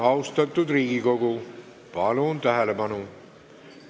Austatud Riigikogu, palun tähelepanu!